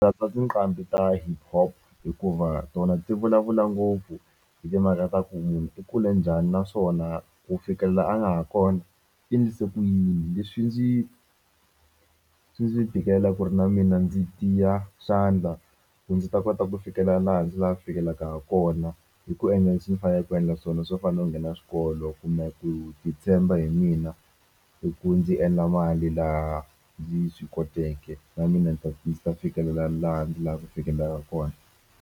Katsa tinqambi ta hiphop hikuva tona ti vulavula ngopfu hi timhaka ta ku munhu i kule njhani naswona ku fikela la a nga ha kona i ndlise ku yini leswi ndzi swi ndzi tikela ku ri na mina ndzi tiya xandla ku ndzi ta kota ku fikela laha ndzi la ku fikelaka ha kona hi ku endla leswi ni faneleke ku endla swona swo fana no nghena swikolo kumbe ku titshemba hi mina i ku ndzi endla mali laha ndzi swi koteke na mina ni ta ni ta fikelela laha ndzi lava ku fikelelaku kona.